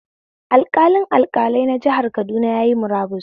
Alƙalin alƙalai na jihar Kaduna yayi murabus